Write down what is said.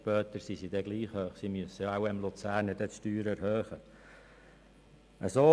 Später werden sie wohl gleich hoch sein, weil der Kanton Luzern seine Steuern wird erhöhen müssen.